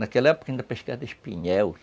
Naquela época ainda pescava espinhel.